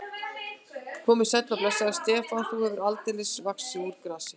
Komdu sæll og blessaður, Stefán, þú hefur aldeilis vaxið úr grasi.